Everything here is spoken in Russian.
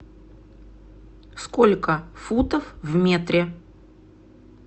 сколько футов в метре